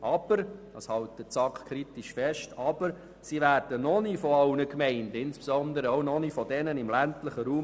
Aber sie werden noch nicht von allen Gemeinden als ihr eigenes Instrument erkannt und anerkannt, insbesondere noch nicht von denjenigen im ländlichen Raum.